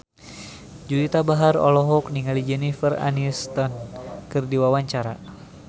Juwita Bahar olohok ningali Jennifer Aniston keur diwawancara